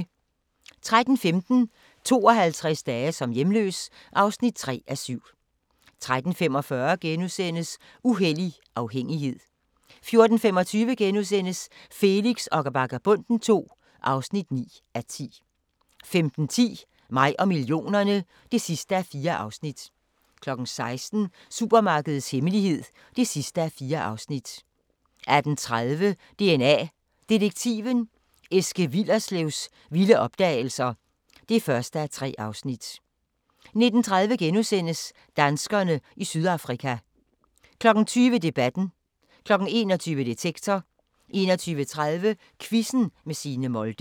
13:15: 52 dage som hjemløs (3:7) 13:45: Uhellig afhængighed * 14:25: Felix og Vagabonden II (9:10)* 15:10: Mig og millionerne (4:4) 16:00: Supermarkedets hemmelighed (4:4) 18:30: DNA Detektiven – Eske Willerslevs vilde opdagelser (1:3) 19:30: Danskerne i Sydafrika * 20:00: Debatten 21:00: Detektor 21:30: Quizzen med Signe Molde